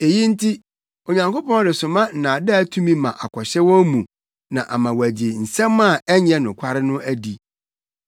Eyi nti, Onyankopɔn resoma nnaadaa tumi ma akɔhyɛ wɔn mu ama wɔagye nsɛm a ɛnyɛ nokware no adi.